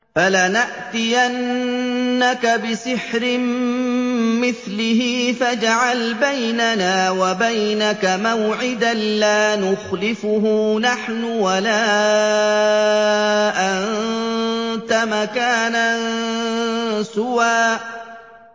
فَلَنَأْتِيَنَّكَ بِسِحْرٍ مِّثْلِهِ فَاجْعَلْ بَيْنَنَا وَبَيْنَكَ مَوْعِدًا لَّا نُخْلِفُهُ نَحْنُ وَلَا أَنتَ مَكَانًا سُوًى